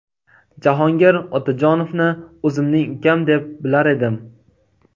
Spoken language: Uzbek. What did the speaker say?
Jahongir Otajonovni o‘zimning ukam deb bilar edim.